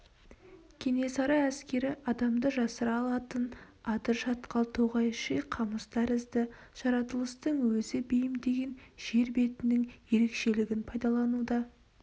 кенесары әскері адамды жасыра алатын адыр шатқал тоғай ши қамыс тәрізді жаратылыстың өзі бейімдеген жер бетінің ерекшелігін пайдалануда